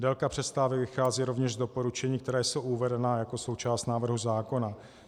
Délka přestávek vychází rovněž z doporučení, která jsou uvedena jako součást návrhu zákona.